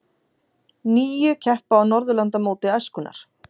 Níu keppa á Norðurlandamóti æskunnar